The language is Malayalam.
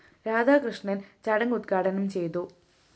രാധാകൃഷ്ണന്‍ ചടങ്ങ് ഉദ്ഘാടനം ചെയ്തു